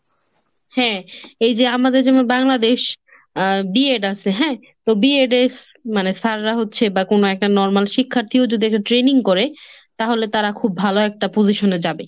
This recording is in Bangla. হ্যাঁ। এই যে আমাদের যেমন Bangladesh, B ed আছে হ্যাঁ, তো B edএর sir রা হচ্ছে বা কোন একটা normal শিক্ষার্থীও যদি একটা training করে, তাহলে তারা খুব ভালো একটা position এ যাবে।